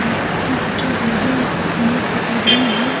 Arts body fitness academy है।